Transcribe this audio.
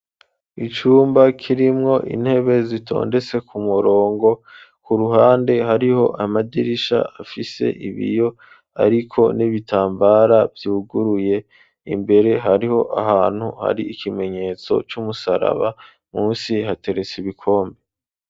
Icumba kirimwo intebe zitondetse ku murongo ku ruhande hariho amadirisha afise ibiyo ariko n'ibitambara vyuguruye imbere hariho ahantu hari ikimenyetso cy'umusaraba munsi hateretse ibikombe.